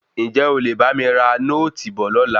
Ǹjé o lè bá mi ra nóòtì bọ̀ lọ́la?